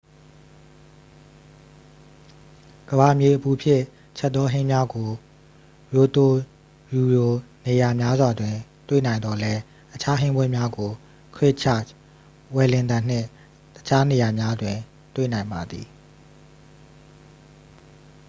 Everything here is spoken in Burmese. ကမ္ဘာမြေအပူဖြင့် ချက်သော ဟင်းများကို ရိုတိုရူရှိ နေရာများစွာတွင် တွေ့နိုင်သော်လည်း အခြား ဟင်းပွဲများကို ခရစ်ချာ့ချ် ဝယ်လင်တန်နှင့် တခြားနေရာများတွင် တွေ့နိုင်ပါသည်